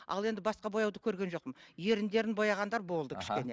ал енді басқа бояуды көрген жоқпын еріндерін бояғандар болды кішкене